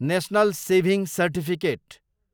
national saving certificate